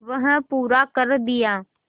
वह पूरा कर दिया